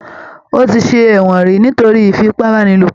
Ó ti ṣe ẹ̀wọ̀n ríi nítorí ìfipàbàniló.